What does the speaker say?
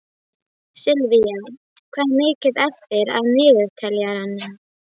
Sylvía, hvað er mikið eftir af niðurteljaranum?